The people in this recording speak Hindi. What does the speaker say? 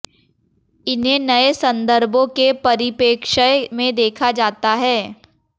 इन्हें नये संदर्भों के परिपे्रक्ष्य में देखा जाता है